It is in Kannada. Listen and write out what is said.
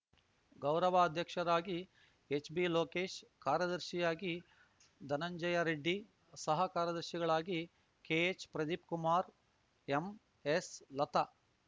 ಗೌರವಾಧ್ಯಕ್ಷರಾಗಿ ಎಚ್‌ಬಿಲೋಕೇಶ್‌ ಕಾರ್ಯದರ್ಶಿಯಾಗಿ ಧನಂಜಯರೆಡ್ಡಿ ಸಹ ಕಾರ್ಯದರ್ಶಿಗಳಾಗಿ ಕೆಎಚ್‌ಪ್ರದೀಪ್‌ಕುಮಾರ್‌ ಎಂಎಸ್‌ಲತ